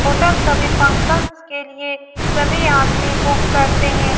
Hotel सभी function के लिए सभी आदमी बुक करते हैं।